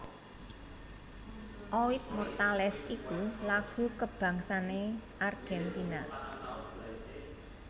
Oid Mortales iku lagu kabangsané Argentina